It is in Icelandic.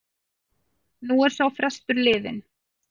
Nú er sá frestur liðinn.